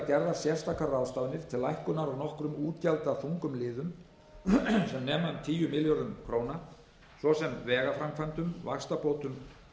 gerðar sértækar ráðstafanir til lækkunar á nokkrum útgjaldaþungum liðum sem nema um tíu milljörðum króna svo sem vegaframkvæmdum vaxtabótum